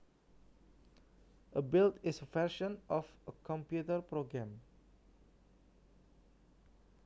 A build is a version of a computer program